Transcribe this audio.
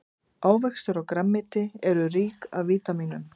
ávextir og grænmeti eru rík af vítamínum